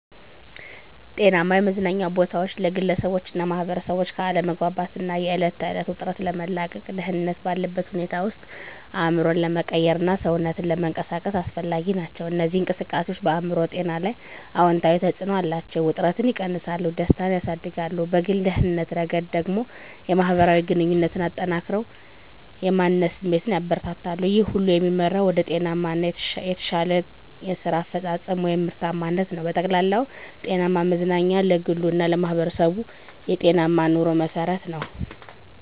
(ከ300 ቁምፊ በላይ) ጤናማ የመዝናኛ ቦታዎች ለግለሰቦችና ማኅበረሰቦች ከአለመግባባት እና የዕለት ተዕለት ውጥረት ለመላቀቅ፣ ደህንነት ባለበት ሁኔታ ውስጥ አእምሮን ለመቀየርና ሰውነትን ለመንቀሳቀስ አስፈላጊ ናቸው። እነዚህ እንቅስቃሴዎች በአእምሮ ጤና ላይ አዎንታዊ ተጽዕኖ አላቸው፤ ውጥረትን እና እከግንነትን ይቀንሳሉ፣ ደስታን ያሳድጋሉ። በግል ደህንነት ረገድ ደግሞ፣ የማህበራዊ ግንኙነትን አጠናክረው የማንነት ስሜትን ያበረታታሉ። ይህ ሁሉ የሚመራው ወደ ጤናማ እና የተሻለ የስራ አፈጻጸም (ምርታማነት) ነው። በጠቅላላው፣ ጤናማ መዝናኛ ለግሉ እና ለማህበረሰቡ የጤናማ ኑሮ መሠረት ነው።